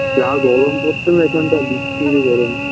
যা গরম পরছে না এখানটা বিচ্ছিরি গরম